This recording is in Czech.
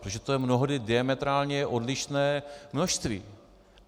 Protože to je mnohdy diametrálně odlišné množství.